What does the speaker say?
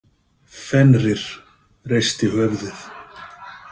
Fenrir reisti höfuðið.